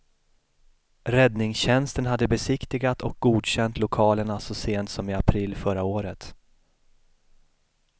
Räddningstjänsten hade besiktigat och godkänt lokalerna så sent som i april förra året.